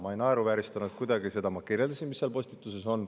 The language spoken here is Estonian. Ma ei naeruvääristanud seda kuidagi, ma kirjeldasin, mis seal postituses on.